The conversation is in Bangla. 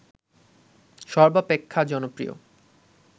সর্বাপেক্ষা জনপ্রিয়